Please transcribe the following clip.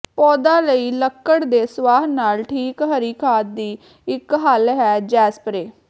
ਪੌਦਾ ਲਈ ਲੱਕੜ ਦੇ ਸੁਆਹ ਨਾਲ ਠੀਕ ਹਰੀ ਖਾਦ ਦੀ ਇੱਕ ਹੱਲ ਹੈ ਜੇਸਪਰੇਅ